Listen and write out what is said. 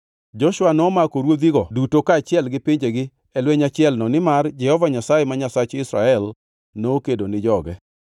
Joshua nomako ruodhigo duto kaachiel gi pinjegi e lweny achielno nimar Jehova Nyasaye, ma Nyasach Israel, nokedo ni joge.